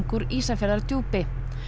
úr Ísafjarðardjúpi